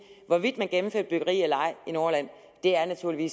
hvorvidt man gennemfører et byggeri eller ej i nordjylland er naturlig